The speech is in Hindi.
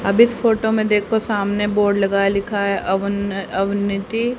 अब इस फोटो में देखो सामने बोर्ड लगा है लिखा है अवन अवनीति--